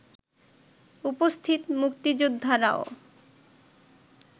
উপস্থিত মুক্তিযোদ্ধারাও